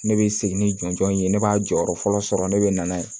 Ne bɛ segin ni jɔnjɔn in ye ne b'a jɔyɔrɔ fɔlɔ sɔrɔ ne bɛ na n'a ye